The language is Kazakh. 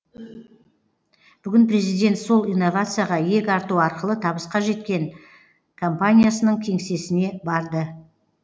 бүгін президент сол инновацияға иек арту арқылы табысқа жеткен компаниясының кеңсесіне барды